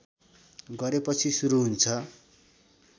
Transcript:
गरेपछि सुरू हुन्छ